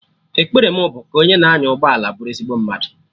Ekpere mụ bụ ka onye na anya ụgbọala bụrụ ezigbo mmadụ